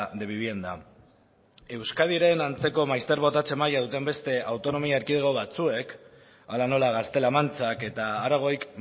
de vivienda euskadiren antzeko maizter botatze maila duten beste autonomia erkidego batzuek hala nola gaztela mantxak eta aragoik